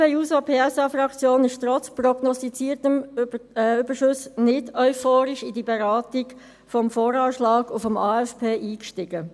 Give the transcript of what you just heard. Die SP-JUSO-PSA-Fraktion ist trotz prognostizierten Überschüssen nicht euphorisch in die Beratung des VA und des AFP eingestiegen.